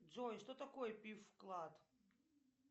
джой что такое пиф вклад